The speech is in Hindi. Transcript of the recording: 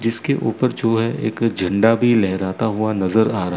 जिसके ऊपर जो है एक झंडा भी लहराता हुआ नज़र आ र --